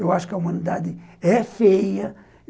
Eu acho que a humanidade é feia.